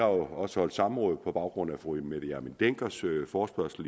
også holdt samråd på baggrund af fru mette hjermind denckers forespørgsel